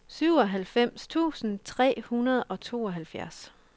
syvoghalvfems tusind tre hundrede og tooghalvfjerds